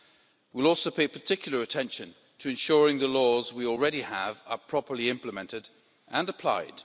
We will also pay particular attention to ensuring the laws we already have are properly implemented and applied.